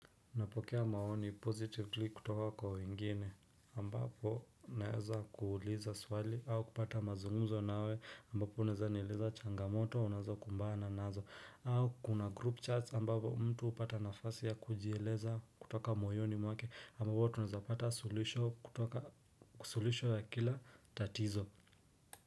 Napokea maoni positively kutoka kwa wengine ambapo naeza kuuliza swali au kupata mazungumzo nawe ambapo unaeza nileza changamoto unazokumbana nazo au kuna group charts ambapo mtu hupata nafasi ya kujieleza kutoka moyoni mwake ambapo tunaeza pata sulisho ya kila tatizo.